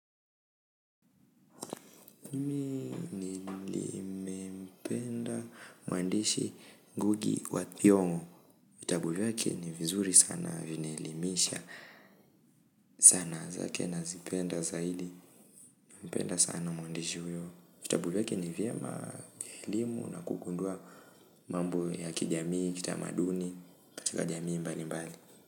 Nimempenda mwandishi ngugi wa thiong'o vitabu vyake ni vizuri sana, vinielimisha sana zake nazipenda zaili nampenda sana mwandishi huyo. Vitabu vyake ni vyema vya elimu na kugundua mambo ya kijamii, kitamaduni, katika jamii mbali mbali.